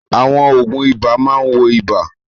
Àwọn òògùn ibà máa ń wo ibà.